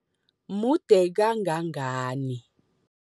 Mude kangangani?